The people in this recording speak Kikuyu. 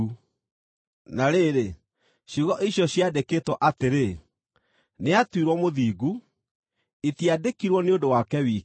Na rĩrĩ, ciugo icio ciandĩkĩtwo atĩrĩ “Nĩatuirwo mũthingu” itiandĩkirwo nĩ ũndũ wake wiki,